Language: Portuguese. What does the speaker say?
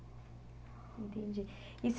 Entendi. E